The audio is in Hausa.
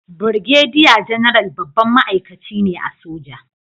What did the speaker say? Birgediya Janaral babban ma'aikaci ne a soja